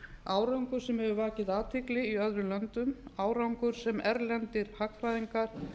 árangur sem hefur vakið athygli í öðrum löndum árangur sem erlendir hagfræðingar